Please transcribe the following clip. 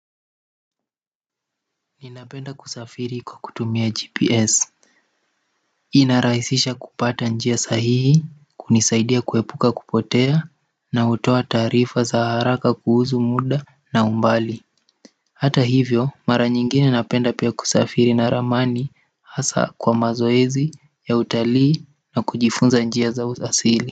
Ninapenda kusafiri kwa kutumia gps. Inarahisisha kupata njia sahihi kunisaidia kuepuka kupotea na hutoa taarifa za haraka kuhusu muda na umbali hata hivyo mara nyingine napenda pia kusafiri na ramani hasa kwa mazoezi ya utalii na kujifunza njia za asili.